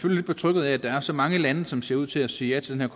lidt betrygget af at der er så mange lande som ser ud til at sige ja til den